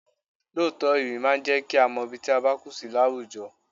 Lóòótọ́, ewì máa ń jẹ kí a mọ ibi tí a bá kù sí láwùjọ.